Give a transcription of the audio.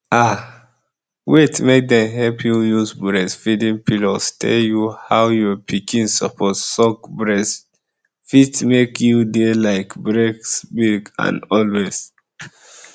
ah wait make dem help you use breastfeeding pillows tell you how your pikin suppose suck breast fit make you dey like breastfeed am always